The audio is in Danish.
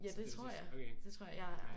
Ja det tror jeg. Det tror jeg